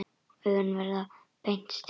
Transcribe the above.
Augun verða beint strik.